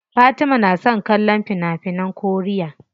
Fatima na son kallon fina finan koriya.